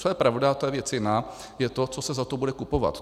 Co je pravda, to je věc jiná, je to, co se za to bude kupovat.